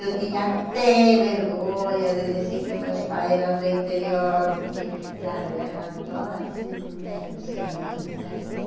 Eu tinha até vergonha de dizer que meus pais eram do interior, porque, claro, elas eram todas assim meio senhoritas e que